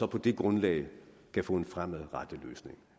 på det grundlag kan få en fremadrettet løsning